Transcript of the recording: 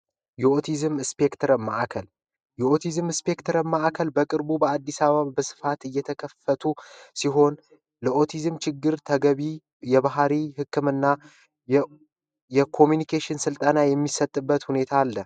የኦቲዝም ማዕከልየኦቲዝም ማዕከል ማቅርቡ በአዲስ አበባ በስፋት እየተከፈቱ ሲሆን ለኦቲዝም ችግር ተገቢ የባህሪ ህክምና የኮሚኒኬሽን ስልጠና የሚሰጥበት ሁኔታ አለ